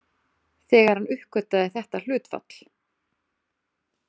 Þegar hann uppgötvaði þetta hlutfall.